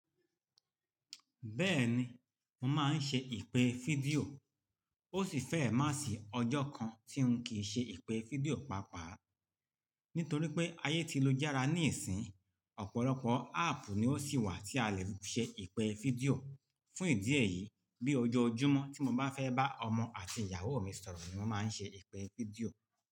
Bẹ́ẹ̀ni, mo máa ń ṣe ìpè fídíò. Ó sì fẹ́rẹ̀ má sì ọjọ́ kan tí n kìí ṣe ìpè fídíò pàápàá. Nítorí pé ayé ti lu járá níìsín, ọ̀pọ̀lọpọ̀ áàpù ni ó sì wà tí a lè ṣe ìpè fídíò. Fún ìdí èyí, bí ojoojúmọ́ tí mo bá fẹ́ bá ọmọ àti ìyàwó mi sọ̀rọ̀ ni mo máa ń ṣe ìpè fídíò.